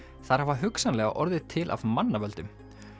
þær hafa hugsanlega orðið til af mannavöldum